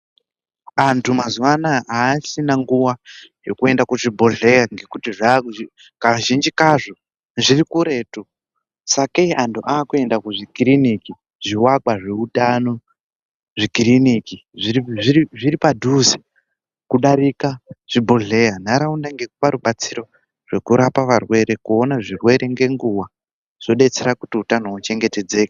Antu mazuva anaya haachina nguva yekuenda kuzvibhedheya ngekuti zvakuzvi kazhinji kazvo zviri kuretu. Sakei antu akuenda kuzvikiriniki zvivakwa zveutano zvikiriniki zviri padhuze kudarika zvibhedhlera. Ntaraunda ngekupa rubatsiro zvokurapa varwere kuona zvirwere ngenguva zvobetsera kuti hutano huchengetedzeke.